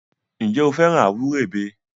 Ǹjẹ́ o fẹ́ràn àwúrèbe?